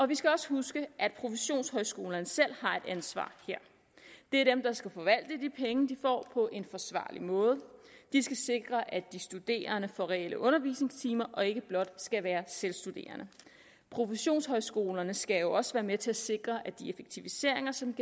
vi skal også huske at professionshøjskolerne selv har et ansvar her det er dem der skal forvalte de penge de får på en forsvarlig måde de skal sikre at de studerende får reelle undervisningstimer og ikke blot skal være selvstuderende professionshøjskolerne skal også være med til at sikre at de effektiviseringer som